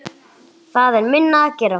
Það er minna að gera.